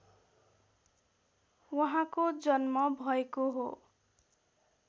उहाँको जन्म भएको हो